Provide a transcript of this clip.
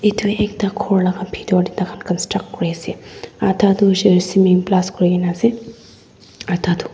Etu ekta khor laka bhetor tey tai khan construct kuri ase atha tu koishele cement plus kuri kena ase aru ekta tu--